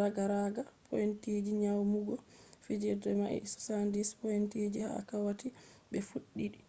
ragaraga pointiji nyamugo fijirde mai 76 pointiji ha wakkati be fuddi